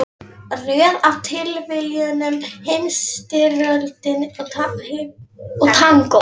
Röð af tilviljunum, Heimsstyrjöldin og tangó.